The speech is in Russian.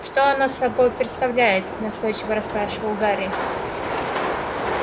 что оно собой представляет настойчиво расспрашивал гарри